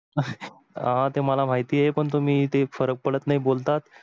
हा ते मला महितीय आहे पण तुम्ही ते फरक पडत नाही बोलता.